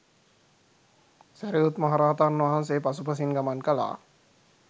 සැරියුත් මහ රහතන් වහන්සේ පසු පසින් ගමන් කළා.